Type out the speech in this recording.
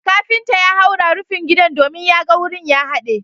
kafinta ya haura rufin gidan domin ya ga wurin ya hade